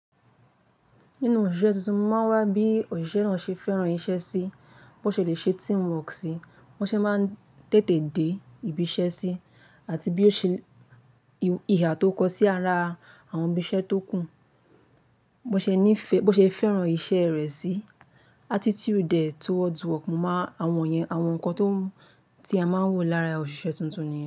Nínú òṣìṣẹ́ tuntun máa wá bí òṣìṣẹ́ náà ṣe fẹ́ràn iṣẹ́ sí, bó ṣe lè ṣe teamwork sí, bó ṣe máa ń tètè dé ibi iṣẹ́ sí, àti bí ó ṣe ihà tó kọ sí ara àwọn ibìṣẹ́ tó kù, bó ṣe ní ìfẹ́, bó ṣe fẹ́ràn iṣẹ́ rẹ̀ sí. Attitude e toward work máa àwọn ìyẹn, àwọn nǹkan tó ti a máa ń wò lára òṣìṣẹ́ tuntun ni.